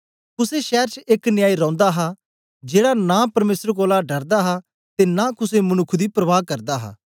कुसे शैर च एक न्यायी रौंदा हा जेड़ा नां परमेसर कोलां डरदा हा ते नां कुसे मनुक्ख दी परवाह करदा हा